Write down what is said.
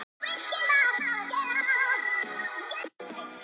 Hjartað í mér missti úr marga takta.